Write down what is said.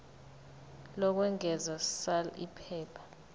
lokwengeza sal iphepha